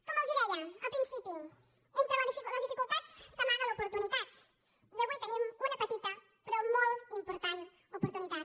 com els deia al principi entre les dificultats s’amaga l’oportunitat i avui tenim una petita però molt important oportunitat